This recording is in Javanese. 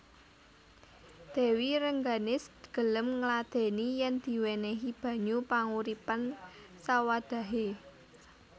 Dèwi Rengganis gelem ngladèni yèn diwènèhi banyu panguripan sawadhahé